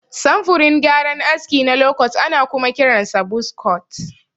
Samfurin gyaran aski na lokot ana kuma kiransa buz kot.